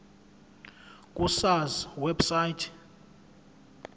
ku sars website